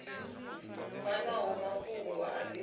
fanaho na mafhungo a divhashango